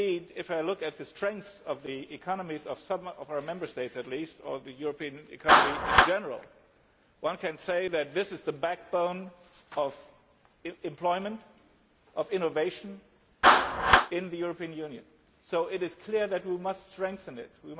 If I look at the strengths of the economies of some of our Member States at least, or the European economy in general, one can say that here is the backbone of employment, of innovation in the European Union, so it is clear that we must strengthen them.